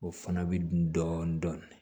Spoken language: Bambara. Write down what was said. O fana bɛ dun dɔɔnin dɔɔnin